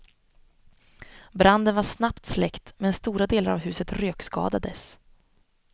Branden var snabbt släckt men stora delar av huset rökskadades.